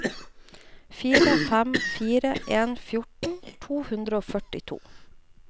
fire fem fire en fjorten to hundre og førtito